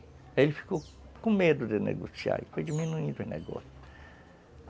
Aí ele ficou com medo de negociar e foi diminuindo o negócio.